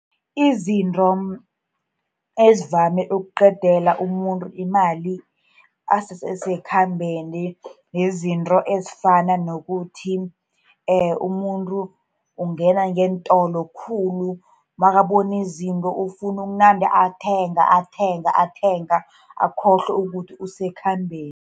Izinto ezivame ukuqedela umuntu imali asese sekhambeni, zizinto ezifana nokuthi umuntu ungena ngeentolo khulu, nakabona izinto ufuna ukunande athenga, athenga, athenga, akhohlwe ukuthi usekhambeni.